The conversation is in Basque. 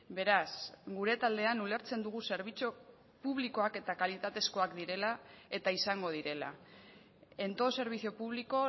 beraz gure taldean ulertzen dugu zerbitzu publikoak eta kalitatezkoak direla eta izango direla en todo servicio público